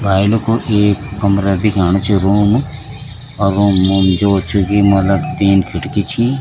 भाई लुखो एक कमरा दिख्याणु च रूम और रूम अर रूम म जो छ की मलब तीन खडकी छी।